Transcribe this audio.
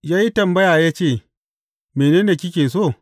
Ya yi tambaya ya ce, Mene ne kike so?